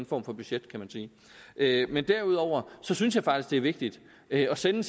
form for budget kan man sige men derudover synes jeg faktisk det er vigtigt at sende